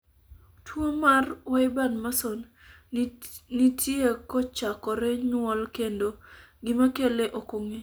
tuo mar wyburn Mason nitie kochakore nyuol kendo gima kele ok ong'e